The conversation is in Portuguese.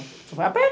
Vai a pé.